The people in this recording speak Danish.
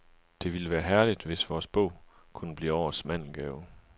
Det ville være herligt, hvis vores bog kunne blive årets mandelgave.